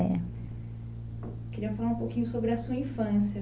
É. Queria falar um pouquinho sobre a sua infância.